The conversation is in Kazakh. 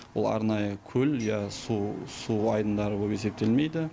ол арнайы көл я су су айдындары боп есептелмейді